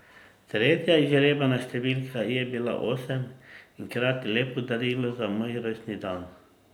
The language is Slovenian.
Tretja izžrebana številka je bila osem in hkrati lepo darilo za moj rojstni dan.